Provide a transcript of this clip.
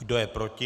Kdo je proti?